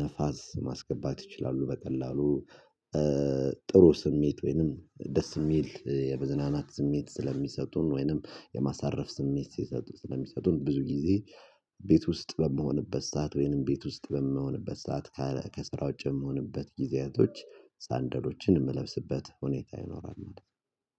ነፋስ ማስገባት ይችላሉ በቀላሉ። ጥሩ ስሜት ወይንም ደስ የሚል የመዝናናት ስሜት ስለሚሰጡን ወይንም የማሳረፍ ስሜት ስለሚሰጡን ብዙ ጊዜ ቤት ውስጥ በመሆንበት ሰዓት ወይንም ቤት ውስጥ በመሆንበት ሰዓት ከስራ ውጪ በመሆንበት ጊዜያቶች ሳንደሎችን የምለብስበት ሁኔታ ይኖራል